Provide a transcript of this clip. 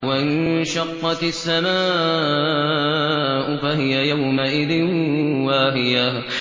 وَانشَقَّتِ السَّمَاءُ فَهِيَ يَوْمَئِذٍ وَاهِيَةٌ